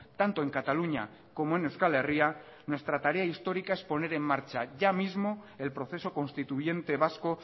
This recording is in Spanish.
tanto en cataluña como en euskal herria nuestra tarea histórica es poner en marcha ya mismo el proceso constituyente vasco